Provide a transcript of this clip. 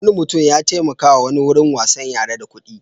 Wani mutum ya taimakawa wani wurin wasan yara da kuɗi.